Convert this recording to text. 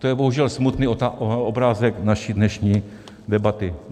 To je bohužel smutný obrázek naší dnešní debaty.